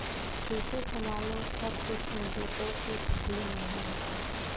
कैसे संभालू सब कुछ मुझे तो कुछ भी नहीं आता